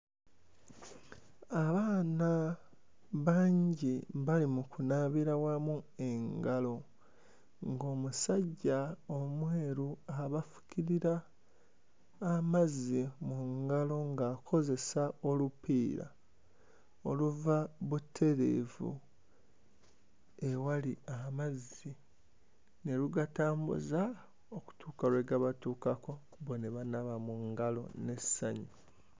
Abaana bangi bali mu kunaabira wamu engalo ng'omusajja omweru abafukirira amazzi mu ngalo ng'akozesa olupiira oluva butereevu ewali amazzi ne lugatambuza okutuuka lwegabatuukako bo ne banaaba mu ngalo n'essanyu.